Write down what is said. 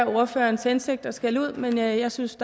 ordførerens hensigt at skælde ud men jeg synes